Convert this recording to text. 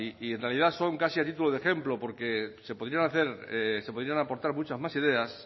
y en realidad son casi a título de ejemplo porque se podrían aportar muchas más ideas